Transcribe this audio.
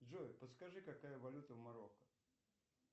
джой подскажи какая валюта в марокко